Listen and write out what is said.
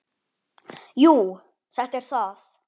Jú, þetta er það.